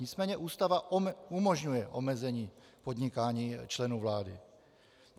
Nicméně Ústava umožňuje omezení podnikání členů vlády.